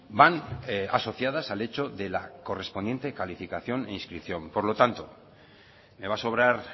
van asociadas al hecho de la correspondiente calificación e inscripción por lo tanto me va a sobrar